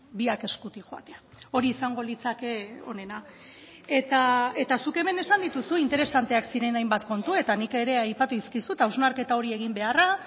biak eskutik joatea hori izango litzake onena eta zuk hemen esan dituzu interesanteak ziren hainbat kontu eta nik ere aipatu dizkizut hausnarketa hori egin beharra